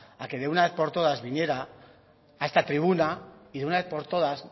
a que de una vez por todas a que viniera a esta tribuna y de una vez por todas